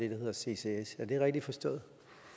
hedder ccs er det rigtig forstået